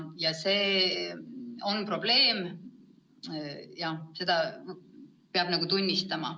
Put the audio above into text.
Ja see on probleem, seda peab tunnistama.